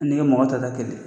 Fo n'i ye mɔgɔ min ta ta kelen.